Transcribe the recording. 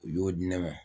U y'o di ne ma